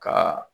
Ka